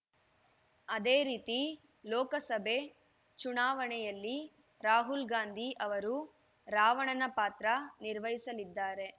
ಅದೇ ರೀತಿ ಲೋಕಸಭೆ ಚುನಾವಣೆಯಲ್ಲಿ ರಾಹುಲ್‌ ಗಾಂಧಿ ಅವರು ರಾವಣನ ಪಾತ್ರ ನಿರ್ವಹಿಸಲಿದ್ದಾರೆ